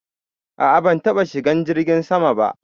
A'a ban taba shigan jirgin sama ba.